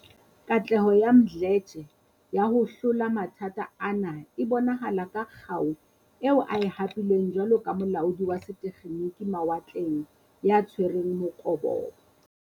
Katleho ya Mdletshe ya ho hlola mathata ana e bonahala ka kgau eo a e hapileng jwalo ka molaodi wa setekgeniki mawatleng ya tshwereng mokobobo.